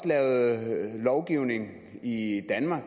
lavet lovgivning i danmark